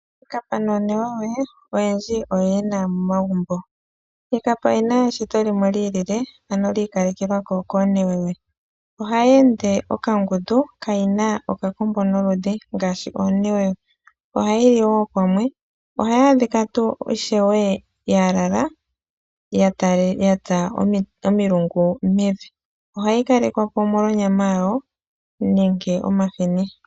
Iikapa noonewewe oyendji oyo ye na momagumbo. Iikapa oyi na eshito limwe li ilile, ano li ikalekelwa ko koonewewe. Ohayi ende okangundu, ano kayi na okakombo noludhi ya fa oonewewewe. Ohayi li wo pamwe. Ohayi adhika ishiwe ya lala ya tsa omilungu mevi. Ohayi kalekwa po omolwa onyama yawo nenge omahini.